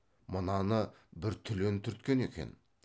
мынаны бір түлен түрткен екен